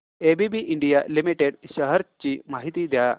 ABB India limited shares ची माहिती द्या